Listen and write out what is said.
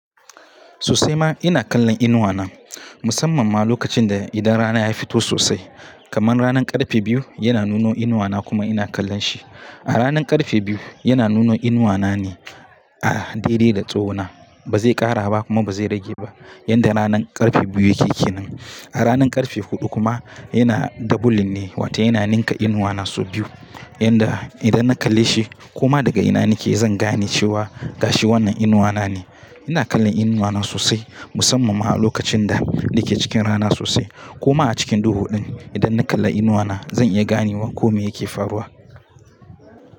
Sosai ma ina kallon inuwana musamman ma lokacin da idan rana ya fito sosai, kaman ranan karfe biyu yana nuno inuwana kuma ina kallon shi. A ranan karfe biyu yana nuno inuwana ne a dedai da tsowona. Ba zai ƙara ba kuma ba zai rage ba yanda ranan karfe biyu yake ke nan. A ranan karfe huɗu kuma yana doubling ne, wata yana ninka inuwana sau biyu yanda idan na kalle shi ko ma daga ina nake zan gane cewa gashi wannan inuwana ne. Ina kallon inuwana sosai musamman ma a lokacin da nake cikin rana sosai ko ma a cikin duhuɗin idan na kalla inuwana zan iya ganewa komai yake faruwa.